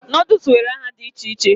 Nodul nwere aha di iche iche